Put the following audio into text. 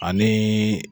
Ani